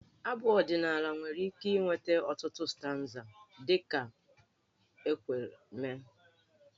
Abụ ọdịnaala nwere ike inwe ọtụtụ stanza dị ka o kwere mee.